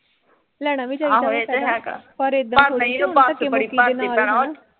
ਲੈਣਾ ਵੀ ਚਾਹੀਦਾ